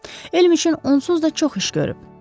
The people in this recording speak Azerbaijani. Elm üçün onsuz da çox iş görüb.